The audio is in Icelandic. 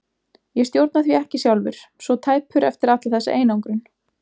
Ég stjórna því ekki sjálfur, svo tæpur eftir alla þessa einangrun.